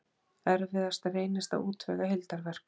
Erfiðast reynist að útvega heildarverk